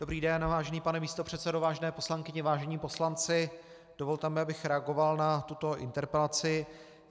Dobrý den, vážený pane místopředsedo, vážené poslankyně, vážení poslanci, dovolte mi, abych reagoval na tuto interpelaci.